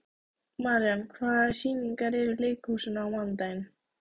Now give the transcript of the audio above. Marían, hvaða sýningar eru í leikhúsinu á mánudaginn?